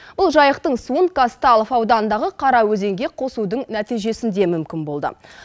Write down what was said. бұл жайықтың суын казталов ауданындағы қараөзенге қосудың нәтижесінде мүмкін болды